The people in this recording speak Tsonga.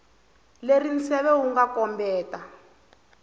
leri nseve wu nga kombetela